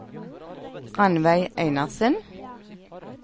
Rannveig Einarsen